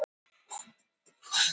Berja skal barn til batnaðar.